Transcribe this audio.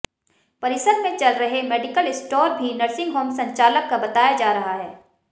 परिसर में चल रहे मेडिकल स्टोर भी नर्सिंग होम संचालक का बताया जा रहा है